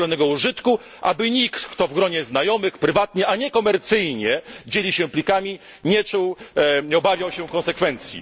dozwolonego użytku, aby nikt, kto w gronie znajomych, prywatnie, a nie komercyjnie dzieli się plikami, nie obawiał się konsekwencji.